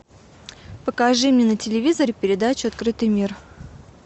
покажи мне на телевизоре передачу открытый мир